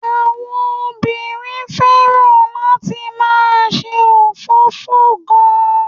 Àwọn obìnrin fẹ́ràn láti máà ṣe òfófó gan-an.